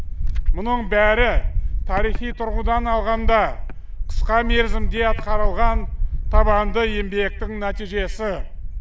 мұның бәрі тарихи тұрғыдан алғанда қысқа мерзімде атқарылған табанды еңбектің нәтижесі